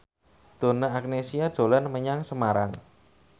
Donna Agnesia dolan menyang Semarang